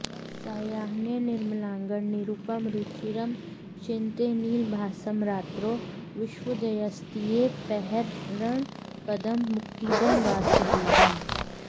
सायाह्ने निर्मलाङ्गं निरुपमरुचिरं चिन्तयेन्नीलभासं रात्रौ विश्वोदयस्थित्यपहरणपदं मुक्तिदं वासुदेवम्